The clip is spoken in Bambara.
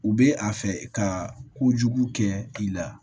U bɛ a fɛ ka kojugu kɛ i la